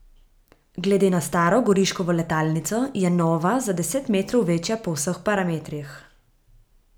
Glede na staro Goriškovo letalnico je nova za deset metrov večja po vseh parametrih.